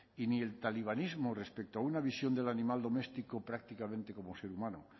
y ni el talibanismo respecto a una visión del animal doméstico prácticamente como ser humano